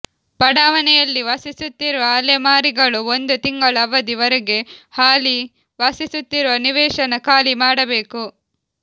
ಬಡಾವಣೆಯಲ್ಲಿ ವಾಸಿಸುತ್ತಿರುವ ಅಲೆ ಮಾರಿಗಳು ಒಂದು ತಿಂಗಳ ಅವಧಿ ವರೆಗೆ ಹಾಲಿ ವಾಸಿಸುತ್ತಿರುವ ನಿವೇಶನ ಖಾಲಿ ಮಾಡಬೇಕು